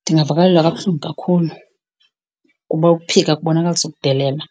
Ndingavakalelwa kabuhlungu kakhulu kuba ukuphika kubonakalisa ukudelela